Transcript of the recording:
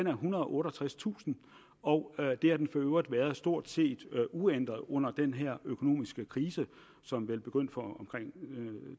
er ethundrede og otteogtredstusind og det har den for øvrigt været stort set uændret under den her økonomiske krise som vel begyndte for omkring